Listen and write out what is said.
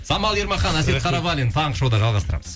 самал ермахан әсет қарабалин таңғы шоуда жалғастырамыз